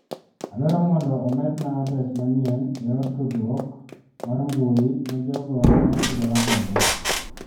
Adwaro mondo omedna adres manyien e yor tdruok ar mbui ne jogo ma atudo ra godo.